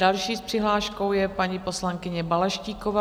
Další s přihláškou je paní poslankyně Balaštíková.